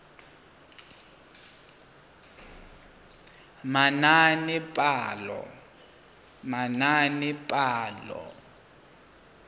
manaanepalo